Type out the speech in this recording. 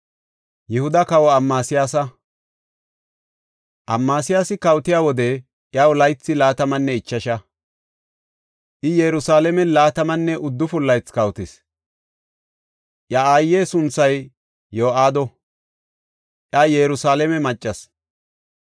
Amasiyaasi kawotiya wode iyaw laythi laatamanne ichasha; I Yerusalaamen laatamanne uddufun laythi kawotis. Iya aaye sunthay Yo7aado; iya Yerusalaame maccas.